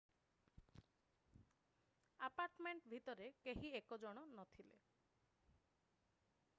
apartment ଭିତରେ କେହି 1 ଜଣ ନଥିଲେ